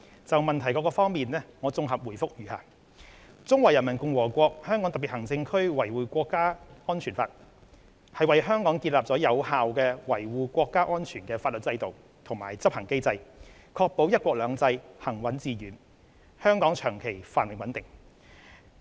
就質詢各部分，現綜合答覆如下：《中華人民共和國香港特別行政區維護國家安全法》為香港建立有效維護國家安全的法律制度及執行機制，確保"一國兩制"行穩致遠，香港長期繁榮穩定。